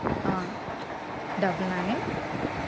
ah double nine